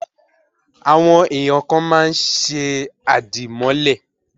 Àwọn èèyàn kàn máa ń ṣe di àdìmọ́lẹ̀